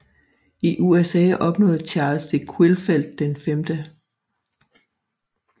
I USA opnåede Charles de Quillfeldt den 5